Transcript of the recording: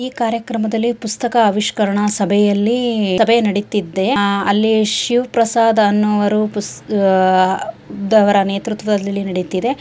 ಈ ಕಾರ್ಯಕ್ರಮದಲ್ಲಿ ಪುಸ್ತಕ ಆವಿಷ್ಕರಣ ಸಭೆಯಲ್ಲಿ ಸಭೆ ನಡೆದಿದೆ ಅಲ್ಲಿ ಶಿವಪ್ರಸಾದ್ ಅನ್ನುವವರು ಪುಸ್ ಅಹ್ ದವರ ನೇತೃತ್ವದಲ್ಲಿ ನಡೆಯುತ್ತಿದೆ.